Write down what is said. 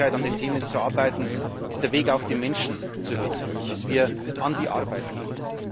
Die Sachlichkeit, an den Themen zu arbeiten, ist der Weg, auch die Menschen zu überzeugen, dass wir an die Arbeit gehen.